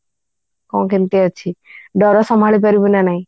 ହଁ କେମିତି ଅଛି ଡର ସମାଳି ପାରିବୁ କି ନାଇଁ